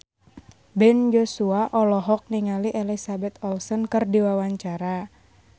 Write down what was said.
Ben Joshua olohok ningali Elizabeth Olsen keur diwawancara